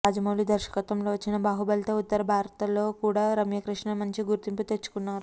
రాజమౌళి దర్శకత్వంలో వచ్చిన బాహుబలితో ఉత్తర భారత్లో కూడా రమ్యకృష్ణ మంచి గుర్తింపు తెచ్చుకున్నారు